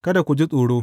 Kada ku ji tsoro.